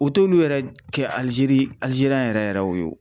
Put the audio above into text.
O t'olu yɛrɛ kɛ ALIZERI yɛrɛ yɛrɛ wo.